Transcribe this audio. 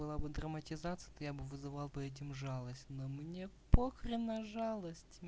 было бы драматизация то я бы вызывал бы этим жалость но мне похрен на жалость